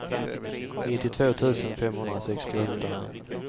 nittiotvå tusen femhundrasextioåtta